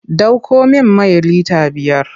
Ɗauko min mai lita biyar!